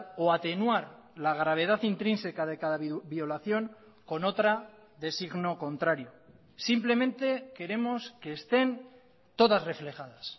o atenuar la gravedad intrínseca de cada violación con otra de signo contrario simplemente queremos que estén todas reflejadas